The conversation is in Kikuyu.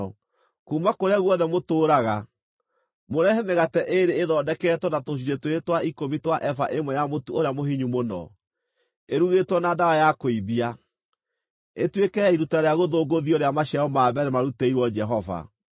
Kuuma kũrĩa guothe mũtũũraga, mũrehe mĩgate ĩĩrĩ ĩthondeketwo na tũcunjĩ twĩrĩ twa ikũmi twa eba ĩmwe ya mũtu ũrĩa mũhinyu mũno, ĩrugĩtwo na ndawa ya kũimbia, ĩtuĩke ya iruta rĩa gũthũngũthio rĩa maciaro ma mbere marutĩirwo Jehova.